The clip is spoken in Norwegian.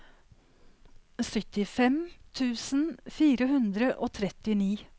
syttifem tusen fire hundre og trettini